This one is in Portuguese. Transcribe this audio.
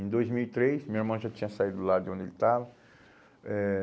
Em dois mil e três, meu irmão já tinha saído lá de onde ele estava. Eh